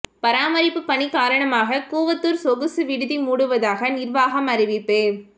பராமரிப்பு பணி காரணமாக கூவத்தூர் சொகுசு விடுதி மூடுவதாக நிர்வாகம் அறிவிப்பு